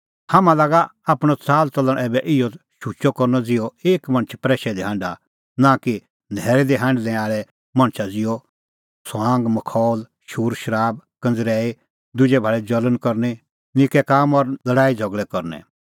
हाम्हां लागा आपणअ च़ाल च़लण ऐबै इहअ शुचअ करनअ ज़िहअ एक मणछ प्रैशै दी हांढा नां कि न्हैरै दी हांढणै आल़ै मणछा ज़िहअ ठठअमखौल शूरशराब कंज़रैई दुजै भाल़ी ज़ल़ण करनी निक्कै काम और लल़ाईझ़गल़ै करनै